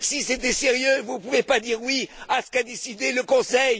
Si c'était sérieux, vous ne pouvez pas dire oui à ce qu'a décidé le Conseil.